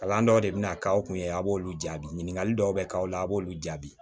Kalan dɔw de bina k'aw kun ye a b'olu jaabi ɲininkali dɔw be k'aw la a b'olu jaabi